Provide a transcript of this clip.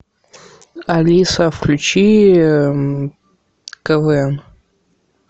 алиса включи квн